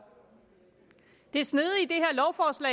det snedige